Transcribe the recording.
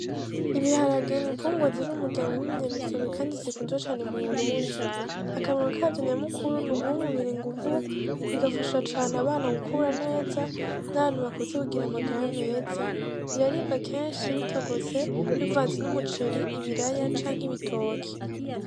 Ibiharage ni imfungurwa ziri mu muryango wibi nyamisomwe kandi zikunzwe cane mu Burundi akamaro kavyo nyamukuru ni uguha umubiri inguvu bigafasha cane abana mu gukura neza, nabantu bakuze bagira amagara meza biraribwa kenshi bitogose, bivanze n'umuceri, ibiraya canke ibitoki.